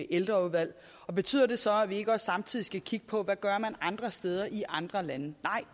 ældreudvalg betyder det så at vi ikke også samtidig skal kigge på hvad man gør andre steder i andre lande nej